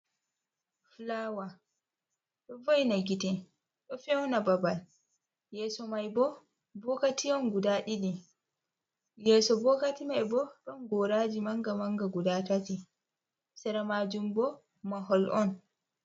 Fulaawa ɗo vo'ina gite ,ɗo fewna babal, yeeso may bo bokati on guda ɗiɗi. Yeeso bokoti may bo ɗon goraaji mannga mannga guda ɗiɗi, sera maajum bo mahol on.